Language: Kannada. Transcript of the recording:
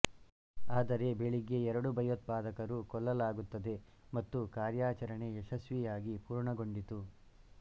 ಆದರೆ ಬೆಳಿಗ್ಗೆ ಎರಡು ಭಯೋತ್ಪಾದಕರು ಕೊಲ್ಲಲಾಗುತ್ತದೆ ಮತ್ತು ಕಾರ್ಯಾಚರಣೆ ಯಶಸ್ವಿಯಾಗಿ ಪೂರ್ಣಗೊಂಡಿತು